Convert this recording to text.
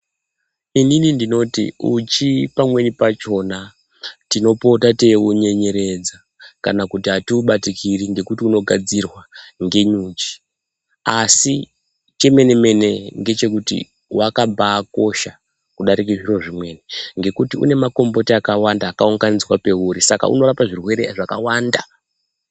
Inini ndinoti uchi pamweni pachona, tinopota teiunyenyeredza kana kuti atiubatikiri ngokuti unogadzirwa ngenyuchi asi chomene-mene ndechekuti wakambakosha kudarika zviro zvimweni ngekuti unemakomboti akawanda akaunganidzwa peuri saka unorapa zvirwere zvakawanda.